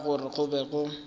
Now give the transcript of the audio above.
ka gore go be go